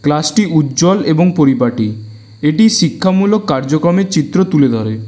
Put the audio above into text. ক্লাসটি উজ্জ্বল এবং পরিপাটি এটি শিক্ষামূলক কার্যক্রমের চিত্র তুলে ধরে।